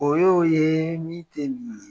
O ye o ye min tɛ nin ye